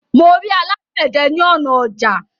Mo rí alágbède ní ọnà ọjà